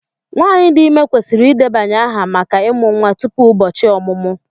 Nwanyị dị ime kwesịrị ịdebanye aha maka ịmụ nwa tupu ụbọchị ọmụmụ.